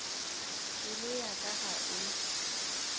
pelo ya ka ga e